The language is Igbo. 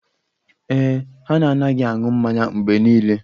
Ee e, ha na-anaghị anụ mmanya mgbe niile